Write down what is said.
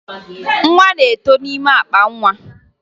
Nwa na-eto n'ime akpa nwa